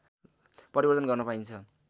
परिवर्तन गर्न पाइन्छ